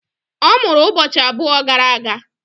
Ọ mụrụ ụbọchị abụọ gara aga.